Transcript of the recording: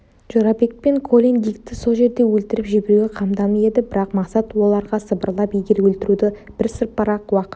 жорабек пен колин дикті сол жерде өлтіріп жіберуге қамданып еді бірақ мақсат оларға сыбырлап егер өлтіруді бірсыпыра уақыт